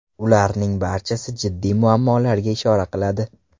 Ularning barchasi jiddiy muammolarga ishora qiladi.